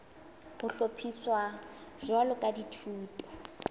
ho hlophiswa jwalo ka dithuto